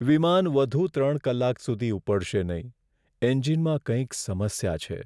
વિમાન વધુ ત્રણ કલાક સુધી ઉપડશે નહીં. એન્જિનમાં કંઈક સમસ્યા છે.